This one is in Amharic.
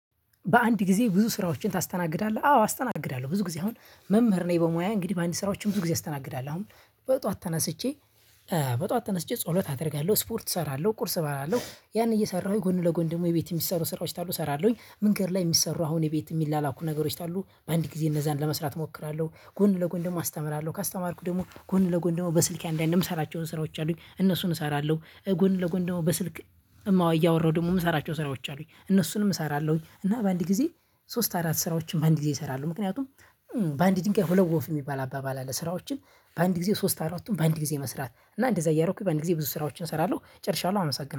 በአንድ ጊዜ ብዙ ስራዎችን ታስተናግዳለህ? አዎ አስተናግዳለሁ። ብዙ ጊዜ አሁን መምህር ነኝ በሙያ እንግዲህ በአንድ ስራዎች ብዙ ጊዜ አስተናግዳለሁ። በጧት ተነስቼ በጧት ተነስቼ ጸሎት አደርጋለሁ ስፖርት እሰራለሁ ቁርስ እበላለሁ ያን እየሰራሁኝ ጎን ለጎን ደግሞ የቤት የሚሰሩ ስራዎች ካሉ እሰራለሁኝ መንገድ ላይ የሚሰሩ አሁን የቤት የሚላላኩ ነገሮች ካሉ በአንድ ጊዜ እነዛን ለመስራት እሞክራለሁ ጎን ለጎን ደግሞ አስተምራለሁ። ካስተማርኩ ደግሞ ጎን ለጎን ደግሞ በስልኬ አንዳንድ የምሰራቸውን ስራዎች አሉኝ እነሱን እሰራለሁ ጎን ለጎን ደግሞ በስልክ እማዋይ እያወራሁ ደግሞ የምሰራቸው ስራዎች አሉኝ እነሱንም እሰራለሁኝ እና በአንድ ጊዜ ሶስት አራት ስራዎችን በአንድ ጊዜ እሰራለሁ ምክንያቱም በአንድ ድንጋይ ሁለት ወፍ የሚባል አባባል አለ ስራዎችን በአንድ ጊዜ ሶስት አራቱን በአንድ ጊዜ መስራት እና እንደዛ እያረኩኝ በአንድ ጊዜ ብዙ ስራዎችን እሰራለሁ ጨርሻለሁ አመሰግናለሁ።